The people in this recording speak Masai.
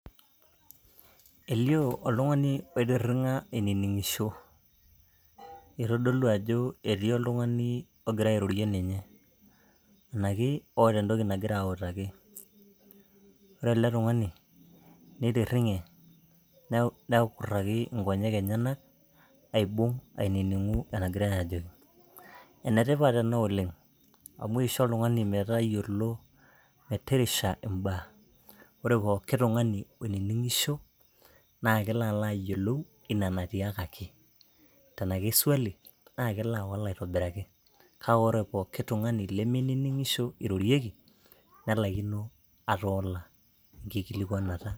Eliooo oltungani oitiringa ainingisho ,itodolu ajo etii oltungani ogira airorie ninye naki oota entoki nagira autaki . Ore ele tungani nitiringe , nekuraki inkonyek enyenak , aibung , aininingu enagirae ajoki. Ene tipat ena oleng amu isho oltungani metayiolo merisha imbaa. Ore pooki tungani oiningisho naa kelo alo ayiolou ina natiaakaki tena ke swali naa kelo awal aitobiraki . Naa ore pooki tungani lemeininingisho eirorieki nelaikino atoola enkikilikwanata.